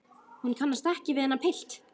Hún kannast ekki við þennan pilt.